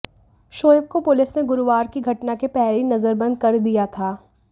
शोएब को पुलिस ने गुरुवार की घटना के पहले ही नज़रबंद कर दिया था